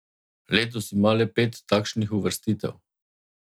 Letos ima le pet takšnih uvrstitev.